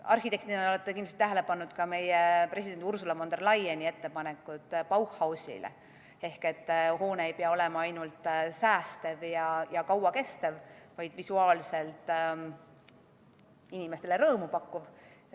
Arhitektina te olete kindlasti tähele pannud ka president Ursula von der Leyeni ettepanekuid Bauhausile, et hoone ei pea olema ainult säästev ja kauakestev, vaid ka visuaalselt inimestele rõõmu pakkuv.